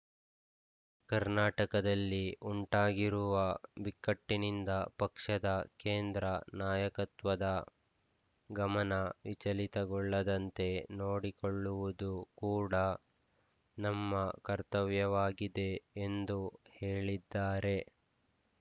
ಕರ್ನಾಟಕದಲ್ಲಿ ಉಂಟಾಗಿರುವ ಬಿಕ್ಕಟ್ಟಿನಿಂದ ಪಕ್ಷದ ಕೇಂದ್ರ ನಾಯಕತ್ವದ ಗಮನ ವಿಚಲಿತಗೊಳ್ಳದಂತೆ ನೋಡಿಕೊಳ್ಳುವುದು ಕೂಡ ನಮ್ಮ ಕರ್ತವ್ಯವಾಗಿದೆ ಎಂದು ಹೇಳಿದ್ದಾರೆ